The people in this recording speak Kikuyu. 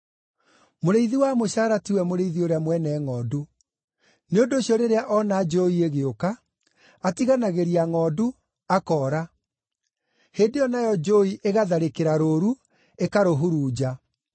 Mũrĩithi wa mũcaara tiwe mũrĩithi ũrĩa mwene ngʼondu. Nĩ ũndũ ũcio rĩrĩa ona njũũi ĩgĩũka, atiganagĩria ngʼondu, akoora. Hĩndĩ ĩyo nayo njũũi ĩgatharĩkĩra rũũru, ĩkarũhurunja.